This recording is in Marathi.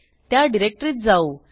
त्या डिरेक्टरीत जाऊ